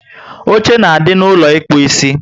Oche na adị n'ulo ịkpụ isi